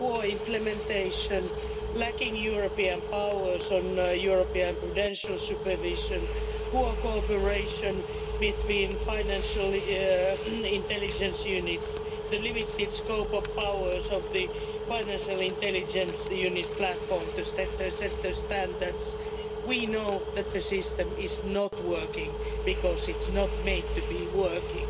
in poor implementation, lacking European powers on European prudential supervision, poor cooperation between financial intelligence units, the limited scope of powers of the Financial Intelligence Unit Platform to set standards. We know that the system is not working, because it's not made to be working.